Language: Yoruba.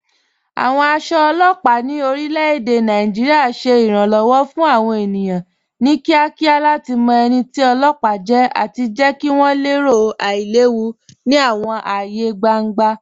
Awọn aṣọ ọlọpa ni orilẹ̀-èdè Nàìjíríà ṣẹ iranlọ́wọ fun awọn ènìyàn ni kíakíá lati mọ ẹni tì ọlọpa jẹ̀ àti jẹ̀ kí wọn lẹ̀rò ailẹ̀wù ni awọn ààyè gbàŋgbà.